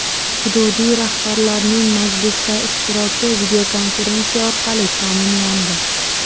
Hududiy rahbarlarning majlisda ishtiroki videokonferensiya orqali ta’minlandi.